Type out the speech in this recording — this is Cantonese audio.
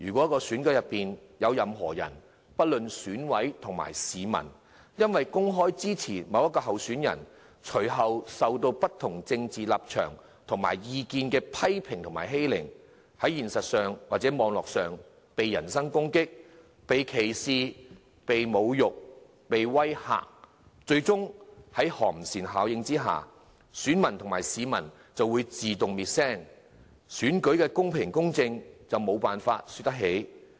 在選舉過程裏，不論是選委或市民因為公開支持某位候選人，而受到不同政治立場及意見的人批評及欺凌，在現實或網絡上被人身攻擊、歧視、侮辱、威嚇，在寒蟬效應之下，選民及市民最終會自動滅聲，選舉的公平、公正亦無從說起。